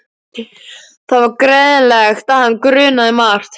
Það var greinilegt að hann grunaði margt.